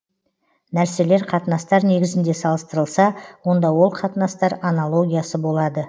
нәрселер қатынастар негізінде салыстырылса онда ол қатынастар анологиясы болады